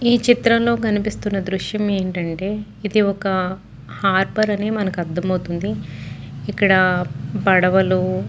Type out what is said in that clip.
ఈ చిత్రం లో కనిపిస్తున్న దృశ్యం ఏంటంటే ఇది ఒక హార్బర్ అని మనకి అర్దమవుతుంది. ఇక్కడ పడవలు --